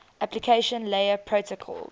application layer protocols